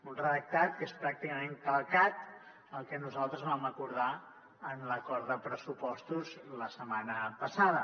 un redactat que és pràcticament calcat al que nosaltres vam acordar en l’acord de pressupostos la setmana passada